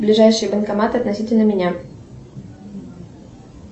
ближайший банкомат относительно меня